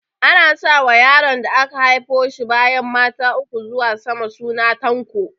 Ana sa wa yaron da aka haifo shi bayan mata uku zuwa sama suna Tanko